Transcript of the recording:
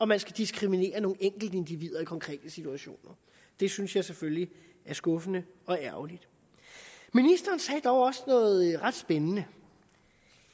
man skal diskriminere nogle enkeltindivider i konkrete situationer det synes jeg selvfølgelig er skuffende og ærgerligt ministeren sagde dog også noget ret spændende